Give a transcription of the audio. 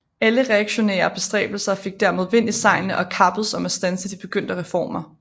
Alle reaktionære bestræbelser fik dermed vind i sejlene og kappedes om at standse de begyndte reformer